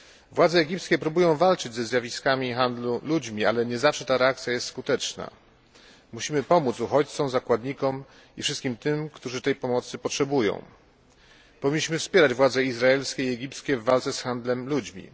Władze egipskie próbują walczyć ze zjawiskami handlu ludźmi, ale nie zawsze ich reakcja jest skuteczna. Musimy pomóc uchodźcom, zakładnikom i wszystkim tym, którzy tej pomocy potrzebują. Powinniśmy wspierać władze izraelskie i egipskie w walce z handlem ludźmi.